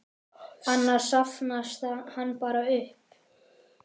Annars safnast hann bara upp.